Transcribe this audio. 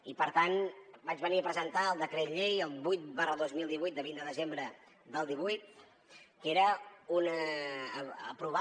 i per tant vaig venir a presentar el decret llei el vuit dos mil divuit de vint de desembre del divuit que era aprovar